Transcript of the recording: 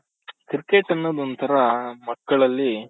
cricket ಅನ್ನೋದ್ ಒಂಥರಾ ಮಕ್ಕಳಲ್ಲಿ